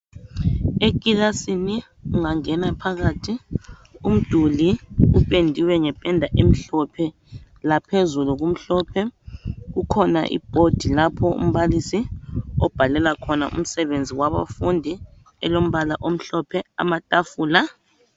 Ekilasini ungangena phakathi umduli upendiwe ngependa emhophe laphezulu kumhlophe kukhona ibhodi lapho umbalisi obhalela khona umsebenzi wabafundi elombala omhlophe amatafula